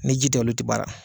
Ni ji tɛ olu tɛ baara.